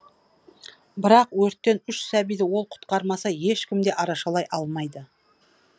бірақ өрттен үш сәбиді ол құтқармаса ешкім де арашалай алмайды